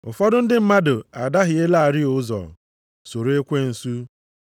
Ụfọdụ ndị mmadụ adahielarị ụzọ, soro ekwensu.